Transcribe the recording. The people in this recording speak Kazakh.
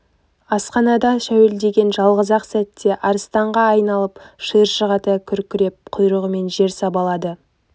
асханада шәуілдеген жалғыз-ақ сәтте арыстанға айналып шиыршық ата күркіреп құйрығымен жер сабалады